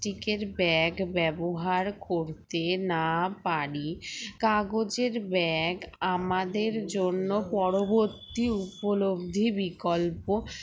tic এর bag ব্যবহার করতে না পারি কাগজের bag আমাদের জন্য পরবর্তী উপলব্ধি বিকল্প